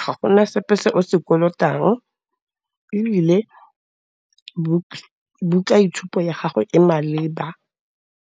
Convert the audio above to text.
ga go na sepe se o se kolotang ebile buka itshupo ya gago e maleba.